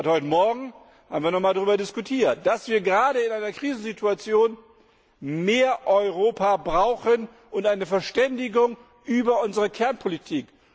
Heute morgen haben wir noch einmal darüber diskutiert, dass wir gerade in einer Krisensituation mehr Europa brauchen und eine Verständigung über unsere Kernpolitik.